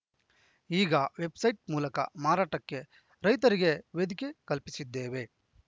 ಈಗ ವೆಬ್‌ಸೈಟ್‌ ಮೂಲಕ ಮಾರಾಟಕ್ಕೆ ರೈತರಿಗೆ ವೇದಿಕೆ ಕಲ್ಪಿಸಿದ್ದೇವೆ